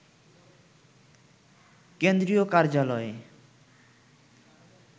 কেন্দ্রীয় কার্যালয়ে